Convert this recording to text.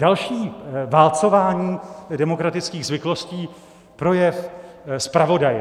Další - válcování demokratických zvyklostí, projev zpravodaje.